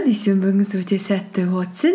дүйсенбіңіз өте сәтті өтсің